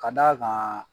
Ka d'a kan